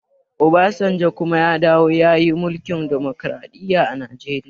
Obasanjo ya kuma dawowa ya yi mulkin dimokraɗiya a najeriya